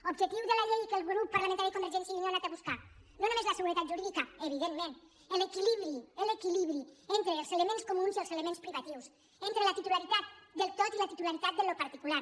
objectiu de la llei que el grup parlamentari de convergència i unió ha anat a buscar no només la seguretat jurídica evidentment l’equilibri l’equilibri entre els elements comuns i els elements privatius entre la titularitat del tot i la titularitat del particular